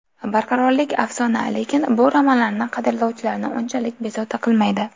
Barqarorlik afsona, lekin bu romanlarni qadrlovchilarni unchalik bezovta qilmaydi.